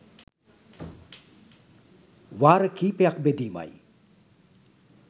වාර කීපයක් බෙදීමයි.